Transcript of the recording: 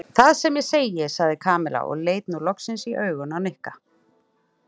Það sem ég segi sagði Kamilla og leit nú loksins í augun á Nikka.